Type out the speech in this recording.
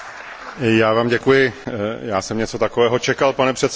Já Vám děkuji, já sem něco takového čekal, pane předsedo.